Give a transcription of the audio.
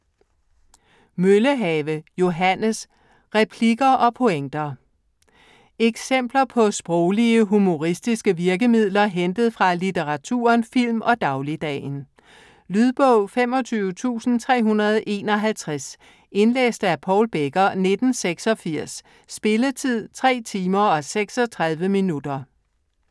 Møllehave, Johannes: Replikker og pointer Eksempler på sproglige humoristiske virkemidler hentet fra litteraturen, film og dagligdagen. Lydbog 25351 Indlæst af Paul Becker, 1986. Spilletid: 3 timer, 36 minutter.